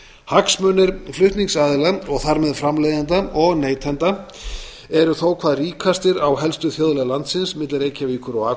hagsmunir flutningsaðila og þar með framleiðenda og neytenda eru þó hvað ríkastir á helstu þjóðleið landsins milli reykjavíkur og akureyrar